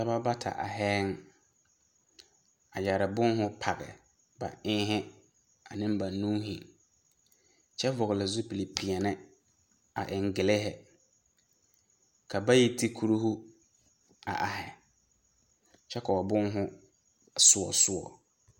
Dɔbɔ bata ahɛɛŋ a yɛre boŋho page ba eŋhe aneŋ ba nuuhi kyɛ vɔgele zupili peɛnɛ a eŋ gelehe. Ka bayi ti kurihu a ahe kyɛ ka ba boŋho soɔ soɔ.